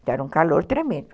Então era um calor tremendo.